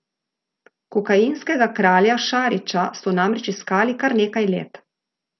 Kokainskega kralja Šarića so namreč iskali kar nekaj let.